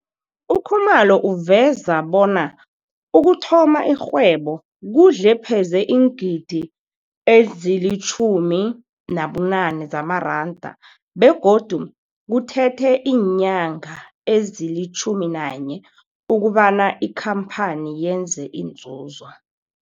UKhumalo uveza bona ukuthoma irhwebo kudle pheze iingidi ezili-18 zamaranda begodu kuthethe iinyanga ezili-11 ukobana ikampani yenze inzuzo.